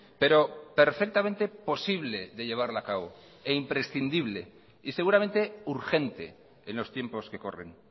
pero perfectamente posible de llevarla a cabo e imprescindible y seguramente urgente en los tiempos que corren